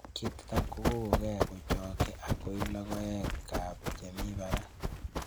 Ketiton kokong'e kochokyin ak koi logoekab chemi barak.